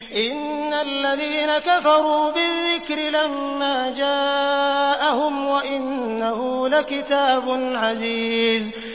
إِنَّ الَّذِينَ كَفَرُوا بِالذِّكْرِ لَمَّا جَاءَهُمْ ۖ وَإِنَّهُ لَكِتَابٌ عَزِيزٌ